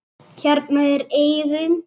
Hérna er eyrin.